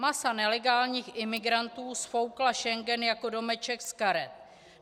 Masa nelegálních migrantů sfoukla Schengen jako domeček z karet.